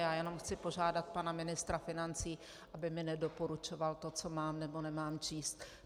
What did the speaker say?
Já jenom chci požádat pana ministra financí, aby mi nedoporučoval to, co mám, nebo nemám číst.